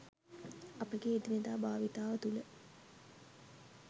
අපගේ එදිනෙදා භාවිතාව තුළ